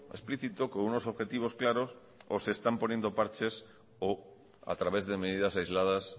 explícito con unos objetivos claros o se están poniendo parches o a través de medidas aisladas